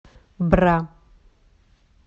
бра